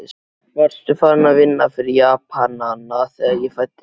Varstu farinn að vinna fyrir Japanana, þegar ég fæddist?